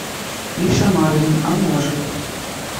миша марвин а может